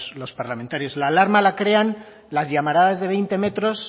los parlamentarios la alarma la crean las llamaradas de veinte metros